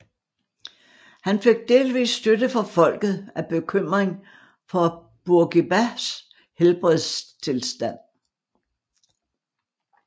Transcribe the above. Han fik delvis støtte fra folket af bekymring for Bourguibas helbredstilstand